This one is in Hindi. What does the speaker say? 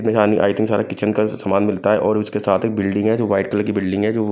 आइटम सारा किचन का समान मिलता है और उसके साथ एक बिल्डिंग है जो वाइट कलर की बिल्डिंग है जो--